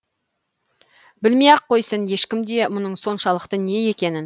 білмей ақ қойсын ешкім де мұның соншалықты не екенін